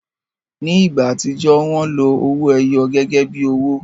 Ni igba atijọ, wọn lo owoẹyọ gẹgẹbi owo